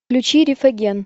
включи рифаген